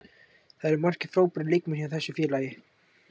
Það eru margir frábærir leikmenn hjá þessu félagi.